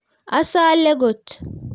asale kot